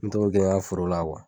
N mɛ to k'o kɛ n y'a foro la